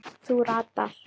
Þú ratar.